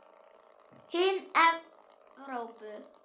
Hin Evrópu